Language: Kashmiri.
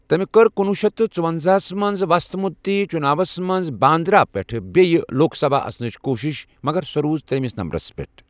تمہِ كٕر کُنوُہ شیتھ تٕہ ژُۄنزاہس منز وصت مدتی چناوس منز باندرا پیٹھہٕ بییہ كوك سبھا اژنٕچہِ كوٗشِش ، مگر سہ روٗد تر٘یمِس نمبرس پیٹھ ۔